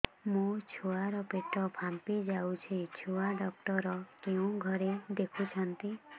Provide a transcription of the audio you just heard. ମୋ ଛୁଆ ର ପେଟ ଫାମ୍ପି ଯାଉଛି ଛୁଆ ଡକ୍ଟର କେଉଁ ଘରେ ଦେଖୁ ଛନ୍ତି